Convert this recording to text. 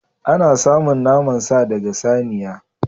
Ana samun naman sa daga saniya.